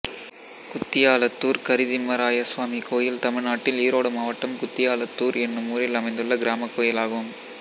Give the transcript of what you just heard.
குத்தியாளத்தூர் கரிதிம்மராயசுவாமி கோயில் தமிழ்நாட்டில் ஈரோடு மாவட்டம் குத்தியாளத்தூர் என்னும் ஊரில் அமைந்துள்ள கிராமக் கோயிலாகும்